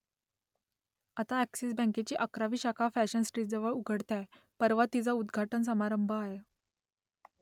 आता अ‍ॅक्सिस बँकेची अकरावी शाखा फॅशन स्ट्रीटजवळ उघडते आहे , परवा तिचा उद्घाटन समारंभ आहे